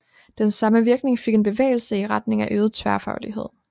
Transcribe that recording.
Den samme virkning fik en bevægelse i retning af øget tværfaglighed